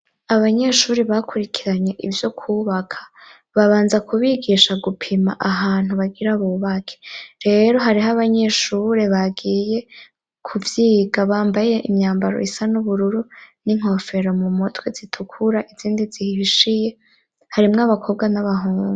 Abanyeshure bakurikiranye ivyo kwubaka babanza kubigisha gupima ahantu bagira bubake. Rero hariho abanyeshure bagiye kuvyiga bambaye imyambaro y'ubururu n'inkofero m'umutwe zitukura n'izindi zihishiye. Harimwo abakobwa n'abahungu.